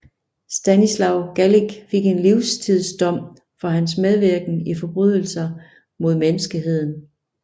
Stanislav Galić fik en livstidsdom for hans medvirken i forbrydelser mod menneskeheden